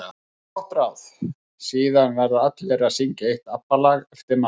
Gott ráð: Síðan verða allir að syngja eitt ABBA lag eftir matinn.